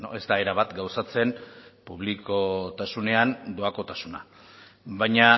ez da erabat gauzatzen publikotasunean doakotasuna baina